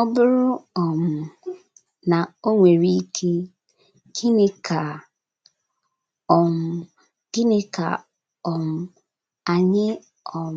Ọ bụrụ um na o nwere ike, gịnị ka um gịnị ka um anyị um